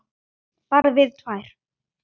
Bara við tvær.